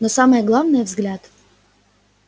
но самое главное взгляд